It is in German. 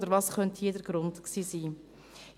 Oder was könnte hier der Grund gewesen sein?